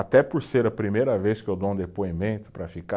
Até por ser a primeira vez que eu dou um depoimento para ficar.